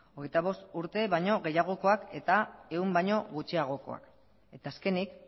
hogeita bost urte baino gehiagokoak eta ehun baino gutxiagokoak eta azkenik